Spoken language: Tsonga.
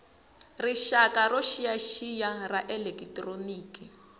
rixaka yo xiyaxiya ya elekitroniki